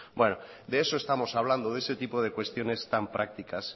verdad bueno de eso estamos hablando de ese tipo de cuestiones tan prácticas